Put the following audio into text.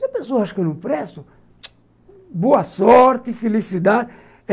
Se a pessoa acha que eu não presto, boa sorte, felicidade.